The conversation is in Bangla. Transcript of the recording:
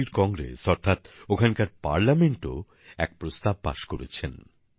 চিলির কংগ্রেস অর্থাৎ ওখানকার সংসদও এক প্রস্তাব পাস করেছেন